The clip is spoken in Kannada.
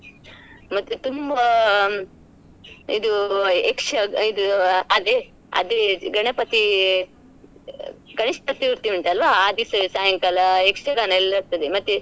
ಮತ್ತೆ ತುಂಬಾ ಇದು ಯಕ್ಷ~ ಇದು ಅ ಅದೇ ಅದೆ ಗಣಪತಿ ಗಣೇಶ ಚತುರ್ಥಿ ಉಂಟ್ ಅಲ್ಲ್ವಾ ಆ ದಿವಸ ಸಾಯಂಕಾಲ ಯಕ್ಷಗಾನ ಎಲ್ಲ ಇರ್ತದೆ ಮತ್ತೆ.